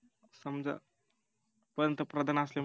समजा पंतप्रधान असल्यामुळ